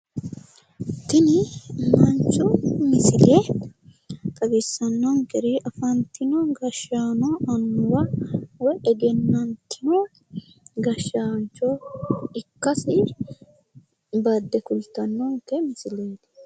tini manchu misile xawissannonkeri afantino gashaano annuwa woyi egennaamma gashshaancho ikkasi badde kultannonke misileeti.